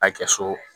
A kɛ so